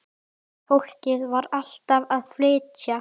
Fólkið var alltaf að flytja.